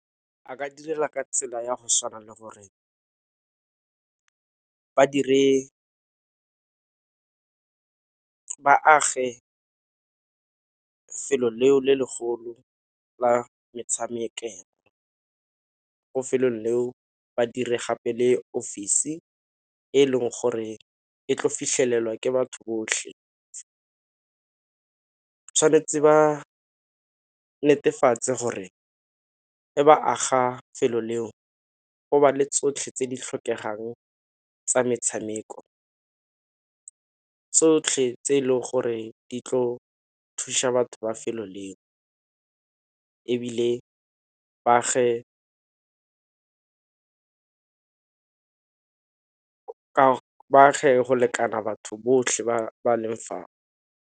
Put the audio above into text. A ka direla ka tsela ya go tshwana le gore ba dire, ba age 'felo leo le legolo la metshamekelo. Ko 'felong leo badiri gape le ofisi e leng gore e tlo fitlhelelwa ke batho botlhe. Tshwanetse ba netefatse gore ga ba aga 'felo leo go ba le tsotlhe tse di tlhokegang tsa metshameko, tsotlhe tse e leng gore di tlo thuša batho ba 'felo le ebile baage go lekana batho botlhe ba ba leng fao.